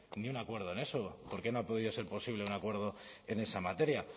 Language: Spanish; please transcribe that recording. ni un acuerdo en eso por qué no ha podido ser posible un acuerdo en esa materia